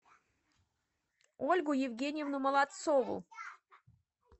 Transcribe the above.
ольгу евгеньевну молодцову